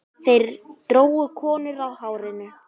Þeir drógu konur á hárinu.